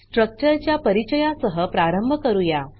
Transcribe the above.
structure च्या परिचया सह प्रारंभ करूया